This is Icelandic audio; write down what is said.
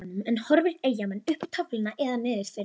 En horfa Eyjamenn upp töfluna eða niður fyrir sig?